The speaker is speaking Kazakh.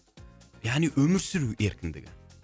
яғни өмір сүру еркіндігі